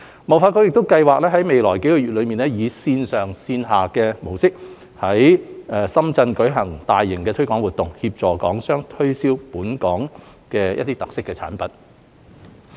貿發局亦計劃於未來數個月以線上線下模式，在深圳舉辦大型推廣活動，協助港商推銷本港的特色產品。